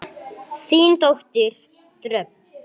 Þín dóttir Dröfn.